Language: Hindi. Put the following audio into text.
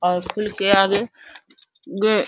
और स्कूल के आगे गे --